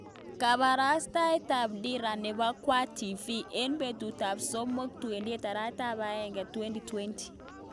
Kaparastayet ap dira nepo kwang tv,eng petut ap somok 28/1/2020.